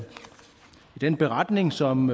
den beretning som